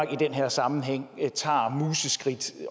i den her sammenhæng museskridt